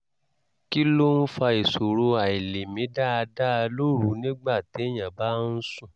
kí ló ń fa ìṣòro àìlèmí dáadáa lóru nígbà téèyàn bá ń sùn?